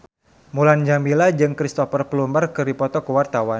Mulan Jameela jeung Cristhoper Plumer keur dipoto ku wartawan